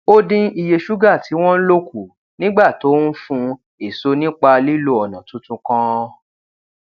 ó dín iye ṣúgà tí wón ń lò kù nígbà tó ń fùn èso nípa lílo ònà tuntun kan